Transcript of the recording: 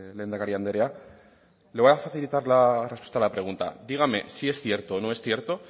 lehendakari andrea le voy a facilitar la respuesta a la pregunta dígame si es cierto o no es cierto